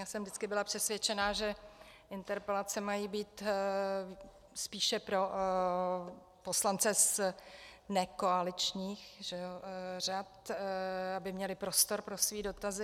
Já jsem vždycky byla přesvědčena, že interpelace mají být spíše pro poslance z nekoaličních řad, aby měli prostor pro své dotazy.